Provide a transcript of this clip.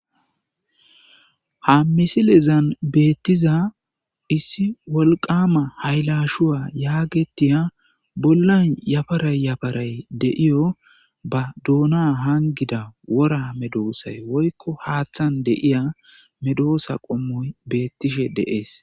Ha missilezan bettiza issi wolqqama hayilashshuwa yagetiya bollay yaparay yaparay de'iyo ba doona hanggida wora meddosay woyikko haththan de'iya meddosa qommoyi bettishe de'esi.